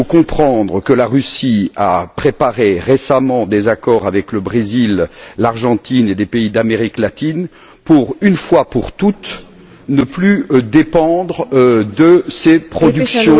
Il faut comprendre que la Russie a préparé récemment des accords avec le Brésil, l'Argentine et des pays d'Amérique latine pour, une fois pour toutes, ne plus dépendre de ces productions...